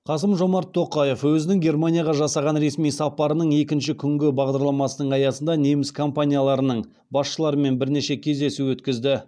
қасым жомарт тоқаев өзінің германияға жасаған ресми сапарының екінші күнгі бағдарламасының аясында неміс компанияларының басшыларымен бірнеше кездесу өткізді